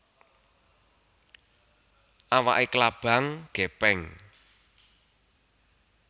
Awak klabang gèpèng